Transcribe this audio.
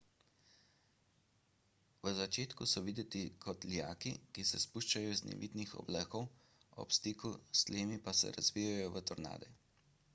v začetku so videti kot lijaki ki se spuščajo iz nevihtnih oblakov ob stiku s tlemi pa se razvijejo v tornade